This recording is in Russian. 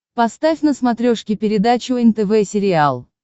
поставь на смотрешке передачу нтв сериал